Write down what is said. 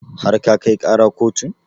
Har ka kai ƙara kotun?